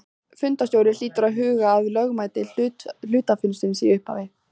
Fundarstjóri hlýtur að huga að lögmæti hluthafafundarins í upphafi.